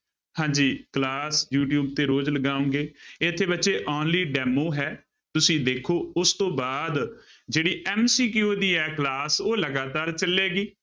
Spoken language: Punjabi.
ਹਾਂਜੀ class ਯੂ ਟਿਊਬ ਤੇ ਰੋਜ਼ ਲਗਾਵਾਂਗੇ ਇੱਥੇ ਬੱਚੇ only demo ਹੈ, ਤੁਸੀਂ ਵੇਖੋ ਉਸ ਤੋਂ ਬਾਅਦ ਜਿਹੜੀ MCQ ਦੀ ਹੈ class ਉਹ ਲਗਾਤਾਰ ਚੱਲੇਗੀ।